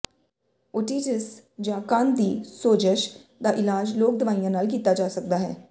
otitis ਜਾਂ ਕੰਨ ਦੀ ਸੋਜ਼ਸ਼ ਦਾ ਇਲਾਜ ਲੋਕ ਦਵਾਈਆਂ ਨਾਲ ਕੀਤਾ ਜਾ ਸਕਦਾ ਹੈ